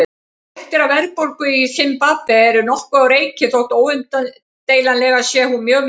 Fréttir af verðbólgu í Simbabve eru nokkuð á reiki þótt óumdeilanlega sé hún mjög mikil.